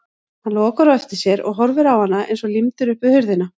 Hann lokar á eftir sér og horfir á hana eins og límdur upp við hurðina.